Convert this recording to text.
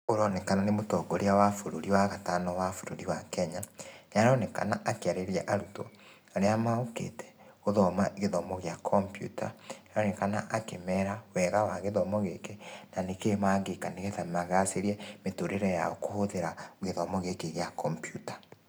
Ũronekana nĩ mũtongoria wa bũrũrĩ wa gatano wa bũrũri wa Kenya. Nĩaronekana akĩarĩria arũtwo arĩa mokĩte, gũthoma gĩthomo gia kompiuta. Nĩaronekana akĩmera wega wa gĩthomo gĩkĩ, na nĩkĩĩ mangĩka nĩgetha magacĩrie mĩtũrĩre yao kũhũthĩra gĩthomo gĩkĩ gĩa kompiuta.